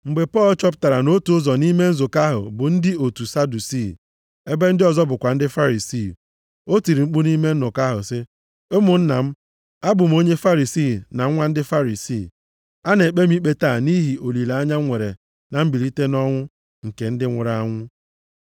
Mgbe Pọl chọpụtara na otu ụzọ nʼime nzukọ ahụ bụ ndị otu Sadusii, ebe ndị ọzọ bụkwa ndị Farisii, o tiri mkpu nʼime nnọkọ ahụ sị, “Ụmụnna m, abụ m onye Farisii na nwa ndị Farisii. A na-ekpe m ikpe taa nʼihi olileanya m nwere na mbilite nʼọnwụ nke ndị nwụrụ anwụ.”